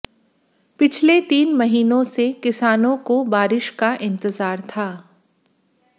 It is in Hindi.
पिछले तीन महीनों से किसानों को बारिश का इंतजार था